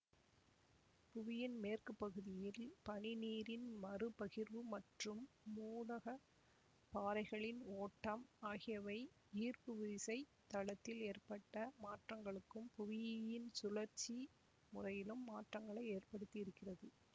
புவியின் மேற்பகுதியில் பனிநீரின் மறுபகிர்வு மற்றும் மூடகப் பாறைகளின் ஓட்டம் ஆகியவை ஈர்ப்புவிசைத் தளத்தில் ஏற்பட்ட மாற்றங்களுக்கும் புவியின் சுழற்சி முறையிலும் மாற்றங்களை ஏற்படுத்தியிருக்கிறது